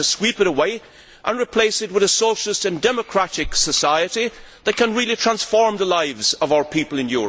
We have to sweep it away and replace it with a socialist and democratic society that can really transform the lives of our people in Europe.